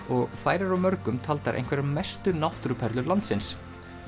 og þær eru af mörgum taldar einhverjar mestu náttúruperlur landsins